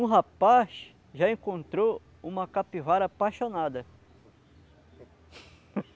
Um rapaz já encontrou uma capivara apaixonada.